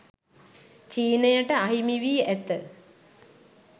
චීනයට අහිමි වී ඇත